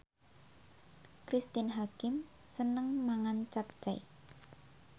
Cristine Hakim seneng mangan capcay